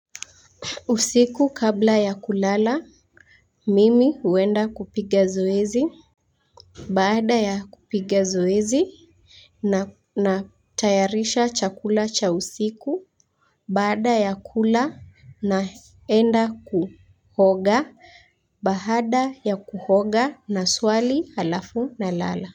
Usiku kabla ya kulala, mimi huenda kupiga zoezi. Baada ya kupiga zoezi, ninatayarisha chakula cha usiku. Baada ya kula, ninaenda kuoga. Baada ya kuoga ninaswali halafu ninalala.